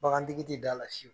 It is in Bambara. Bagantigi ti da la